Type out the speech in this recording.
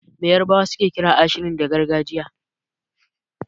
Me yarbawa suke kiran ashirin da gargajiya?